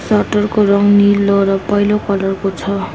Shutter को रङ नीलो र पहेँलो कलर को छ।